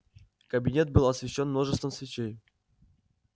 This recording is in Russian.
кабинет был освещён множеством свечей